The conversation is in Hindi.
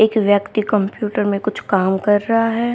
एक व्यक्ति कंप्यूटर में कुछ काम कर रहा है।